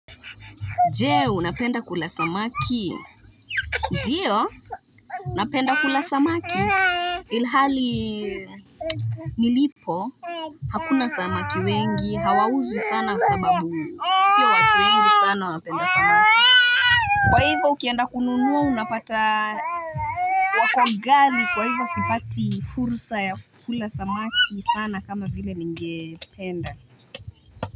Jee, unapenda kula samaki. Ndio, napenda kula samaki. Ilhali nilipo, hakuna samaki wengi, hawauzwi sana sababu, sio watu wengi sana wapenda samaki. Kwa hivo, ukienda kununua unapata wakoghali, kwa hivo, sipati fursa ya kula samaki sana kama vile ninge penda.